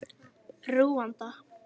Rúanda